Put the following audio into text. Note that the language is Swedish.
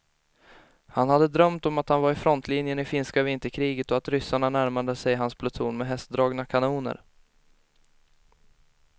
Han hade drömt om att han var i frontlinjen i finska vinterkriget och att ryssarna närmade sig hans pluton med hästdragna kanoner.